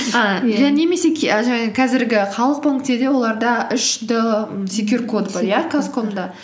немесе жаңағы қазіргі халық банкте да оларда үш д м секюр казком да